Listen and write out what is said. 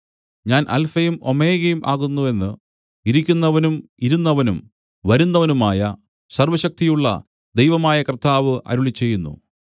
ഞാൻ അല്ഫയും ഓമേഗയും ആകുന്നു എന്ന് ഇരിക്കുന്നവനും ഇരുന്നവനും വരുന്നവനുമായ സർവ്വശക്തിയുള്ള ദൈവമായ കർത്താവ് അരുളിച്ചെയ്യുന്നു